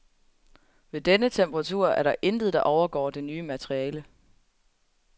Ved denne temperatur er der intet, der overgår det nye materiale.